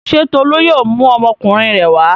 Ṣé Tolú yóò mú ọmọkùnrin rẹ̀ wá?